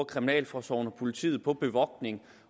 kriminalforsorgen og politiet bruger på bevogtning